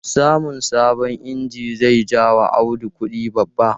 Samun sabon inji zai ja wa Audu kudi babba.